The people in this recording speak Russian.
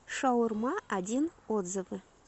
шаурма один отзывы